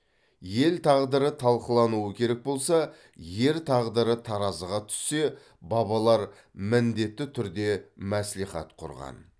ел тағдыры талқылануы керек болса ер тағдыры таразыға түссе бабалар міндетті түрде мәслихат құрған